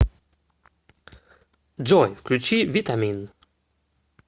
джой включи витамин